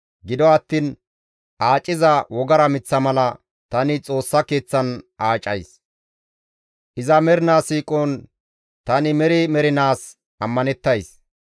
Gido attiin aaciza wogara miththa mala tani Xoossa Keeththan aacays; iza mernaa siiqon tani meri mernaas ammanettays.